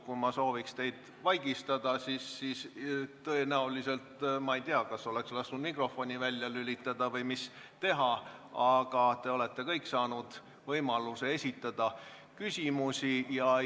Kui ma sooviks teid vaigistada, siis tõenäoliselt, ma ei tea, oleksin võinud lasta teie mikrofoni välja lülitada, aga te kõik olete ju saanud võimaluse küsimusi esitada.